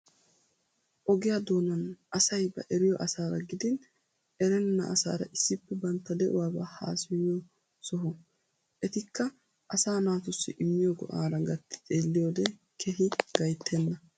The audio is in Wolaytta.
Oggiyaa doonan asay ba eriyo asara giidin erreena asar issippe bantta de'uwaaba hassayiyyo soho. Ettika asa naatusi immiyoo go'orra gatti xeelliyoode keehi gayitteena.